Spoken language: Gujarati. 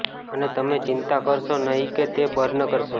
અને તમે ચિંતા કરશો નહીં કે તે બર્ન કરશે